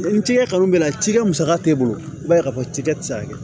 Ni cikɛ kanu bɛ ne la cikɛ musaka t'e bolo i b'a ye k'a fɔ cikɛ tɛ se ka kɛ